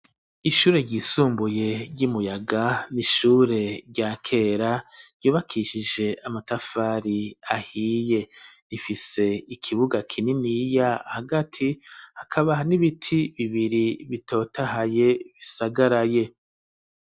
Ishure ryisumbuye ry'imuyaga n'ishure rya kera ryubakishije amatafari ahiye, rifise ikibuga kinini ya hagati akaba n'ibiti bibiri bitotahaye bisagaraye.